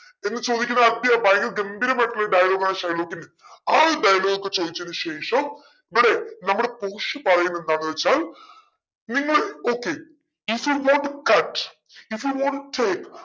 എന്ന് ചോദിക്കുന്ന ഭയങ്കര ഗംഭീരായിട്ടുള്ളൊരു dialogue ആണ് ഷൈലോക്കിന്റെ ആ ഒരു dialogue ചോദിച്ചതിന് ശേഷം ഇവിടെ നമ്മുടെ പോഷിയ പറയുന്ന എന്താന്ന് വെച്ചാൽ നിങ്ങൾ okayif you not cut if you not